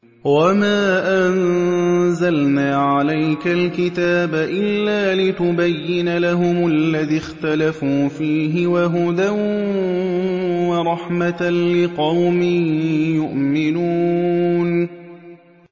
وَمَا أَنزَلْنَا عَلَيْكَ الْكِتَابَ إِلَّا لِتُبَيِّنَ لَهُمُ الَّذِي اخْتَلَفُوا فِيهِ ۙ وَهُدًى وَرَحْمَةً لِّقَوْمٍ يُؤْمِنُونَ